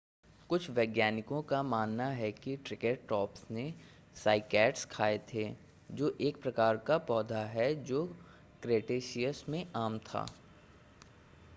कुछ वैज्ञानिकों का मानना है कि ट्रिकेरटॉप्स ने साइकैड्स खाए थे जो एक प्रकार का पौधा है जो क्रेटेशियस में आम था